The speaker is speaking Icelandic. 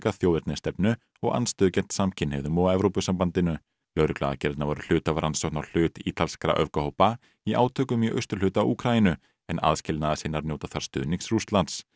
þjóðernisstefnu og andstöðu gegn samkynhneigðum og Evrópusambandinu lögregluaðgerðirnar voru hluti af rannsókn á hlut ítalskra öfgahópa í átökum í austurhluta Úkraínu en aðskilnaðarsinnar njóta þar stuðnings Rússlands